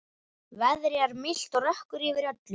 Veðrið er milt og rökkur yfir öllu.